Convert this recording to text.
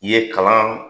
I ye kalan